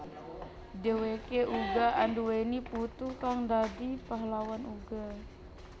Dheweke uga anduwèni putu kang dadi pahlawan uga